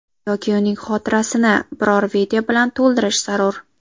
Yoki uning xotirasini biror video bilan to‘ldirish zarur.